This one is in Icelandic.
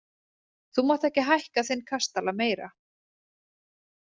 Þú mátt ekki hækka þinn kastala meira!